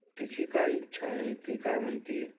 तिची काय इच्छा आहे? ती काय म्हणते?